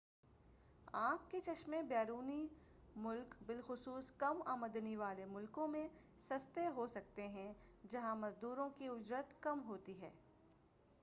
آنکھ کے چشمے بیرونی ملک بالخصوص کم آمدنی والے ملکوں میں سستے ہو سکتے ہیں جہا ں مزدوروں کی اجرت کم ہوتی ہے